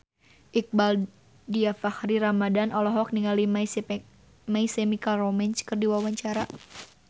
Iqbaal Dhiafakhri Ramadhan olohok ningali My Chemical Romance keur diwawancara